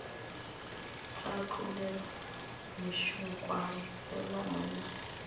tša tlolelwa mešunkwane fela monna